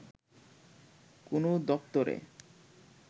কোনো দপ্তরে